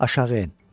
Aşağı en.